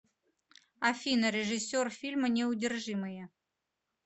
афина режиссер фильма неудержимые